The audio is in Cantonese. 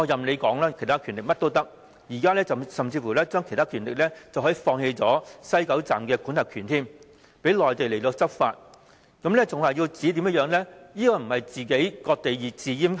把其他權力說成甚麼也可以，甚至把其他權力說成是放棄西九站的管轄權，讓內地官員執法，這不是割地自閹又是甚麼？